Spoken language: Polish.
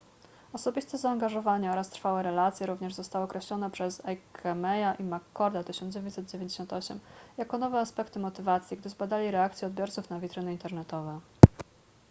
osobiste zaangażowanie” oraz trwałe relacje” również zostały określone przez eighemeya i mccorda 1998 jako nowe aspekty motywacji gdy zbadali reakcje odbiorców na witryny internetowe